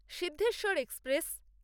Siddheshwar express